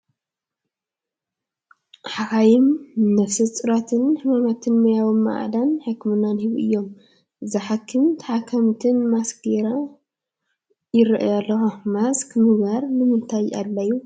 ሓኻይም ንነፍሰ ፁራትን ሕማማትን ሙያዊ ማዕዳን ሕክምናን ይህቡ እዮም፡፡ እዛ ሓኪምን ተሓካሚትን ማስክ ገይረን ይርአያ ኣለዋ፡፡ ማስክ ምግባር ንምንታይ ኣድልዩ?